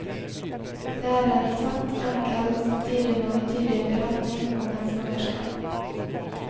Det er en tett, enkel og samtidig mangetydig beretning om et svangerskap.